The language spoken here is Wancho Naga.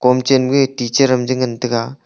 kom chen ma ga teacher ram je ngan tega.